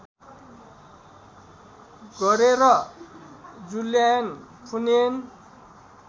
गरेर Jylland Funen